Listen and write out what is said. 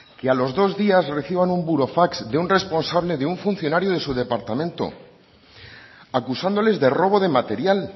y a los dos días reciban un burofax de un responsable de un funcionario de su departamento acusándoles de robo de material